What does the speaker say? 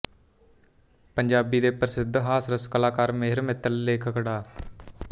ਪੰਜਾਬੀ ਦੇ ਪ੍ਰਸਿੱਧ ਹਾਸਰਸ ਕਲਾਕਾਰ ਮੇਹਰ ਮਿੱਤਲ ਲੇਖਕ ਡਾ